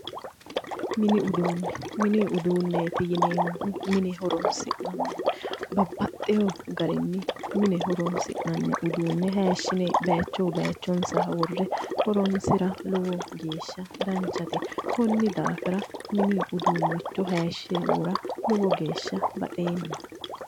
Mini uduunne, mini uduunneeti yineemmohu mine horonsi'nanniho babbaxewo garinni mine horonsi'nanni uduunne hayishi'ne bayichuyi bayichonsa worre horonsira lowo geeshsha danchate konni daafira mini uduunicho hayishe wora lowo geeshsha baxeemma.